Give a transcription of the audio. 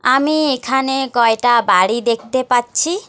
আমি এখানে কয়টা বাড়ি দেখতে পাচ্ছি।